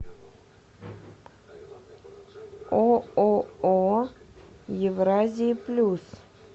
ооо евразия плюс